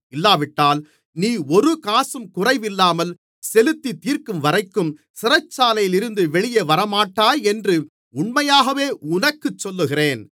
இல்லாவிட்டால் நீ ஒரு காசும் குறைவில்லாமல் செலுத்தித்தீர்க்கும்வரைக்கும் சிறைச்சாலையிலிருந்து வெளியே வரமாட்டாய் என்று உண்மையாகவே உனக்குச் சொல்லுகிறேன்